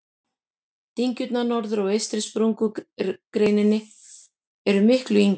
Dyngjurnar norðar á eystri sprungureininni eru miklu yngri.